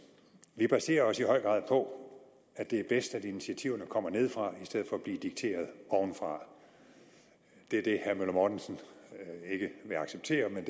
vi baserer os i høj grad på at det er bedst at initiativerne kommer nedefra i stedet for at blive dikteret ovenfra det er det herre møller mortensen ikke vil acceptere men